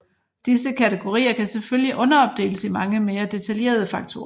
Disse kategorier kan selvfølgelig underopdeles i mange mere detaljerede faktorer